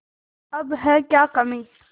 अब है क्या कमीं